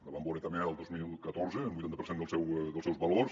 la vam vore també el dos mil catorze un vuitanta per cent dels seus valors